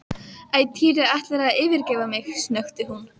Æ, Týri ætlarðu að yfirgefa mig? snökti hún.